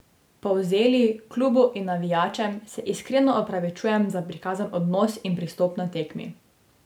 Polzeli, klubu in navijačem se iskreno opravičujem za prikazan odnos in pristop na tekmi.